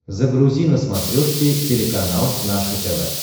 загрузи на смотрешке телеканал наше тв